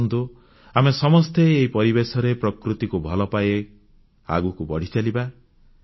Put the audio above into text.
ଆସନ୍ତୁ ଆମେ ସମସ୍ତେ ଏହି ପରିବେଶରେ ପ୍ରକୃତିକୁ ଭଲପାଇ ଆଗକୁ ବଢ଼ିଚାଲିବା